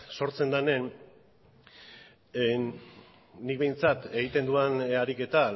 sortzen denean nik behintzat egiten dudan ariketa